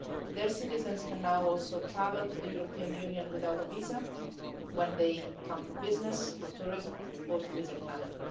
Their citizens can now also travel to the European Union without a visa when they come for business, for tourism or to visit family.